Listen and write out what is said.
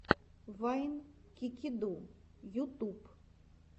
вайн кикиду ютуб